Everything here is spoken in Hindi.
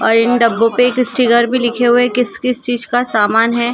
और इन डब्बों पे स्टिकर पे लिखे हुए किस किस चीज का समान हे।